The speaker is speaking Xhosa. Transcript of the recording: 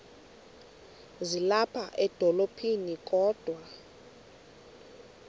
ezilapha edolophini kodwa